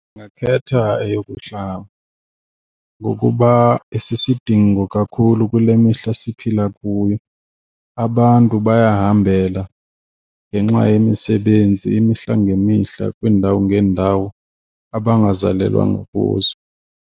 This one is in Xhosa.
Ndingakhetha eyokuhlala ngokuba isisidingo kakhulu kule mihla siphila kuyo. Abantu bayahambela ngenxa yemisebenzi imihla ngemihla kwiindawo ngeendawo abangazalelwanga kuzo.